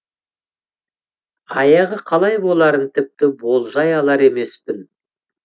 аяғы қалай боларын тіпті болжай алар емеспін